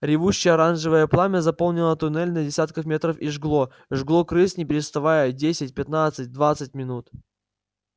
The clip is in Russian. ревущее оранжевое пламя заполнило туннель на десятки метров и жгло жгло крыс не переставая десять пятнадцать двадцать минут